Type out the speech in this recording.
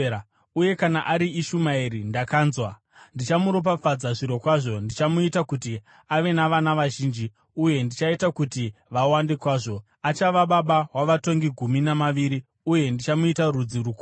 Uye kana ari Ishumaeri, ndakanzwa: Ndichamuropafadza zvirokwazvo, ndichamuita kuti ave navana vazhinji uye ndichaita kuti vawande kwazvo. Achava baba wavatongi gumi navaviri, uye ndichamuita rudzi rukuru.